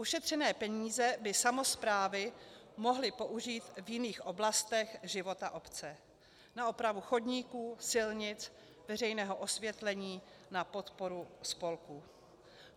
Ušetřené peníze by samosprávy mohly použít v jiných oblastech života obce - na opravu chodníků, silnic, veřejného osvětlení, na podporu spolků."